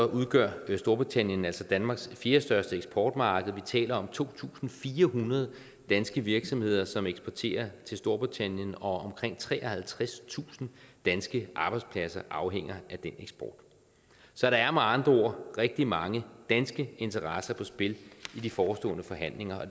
udgør storbritannien altså danmarks fjerdestørste eksportmarked vi taler om to tusind fire hundrede danske virksomheder som eksporterer til storbritannien og omkring treoghalvtredstusind danske arbejdspladser afhænger af den eksport så der er med andre ord rigtig mange danske interesser på spil i de forestående forhandlinger og